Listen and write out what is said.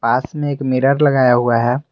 पास में एक मिरर लगाया हुआ है।